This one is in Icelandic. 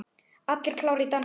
Allir klárir í dansinn?